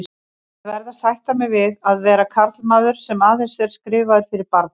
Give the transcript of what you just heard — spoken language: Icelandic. Ég verð að sætta mig við að vera karlmaður, sem aðeins er skrifaður fyrir barni.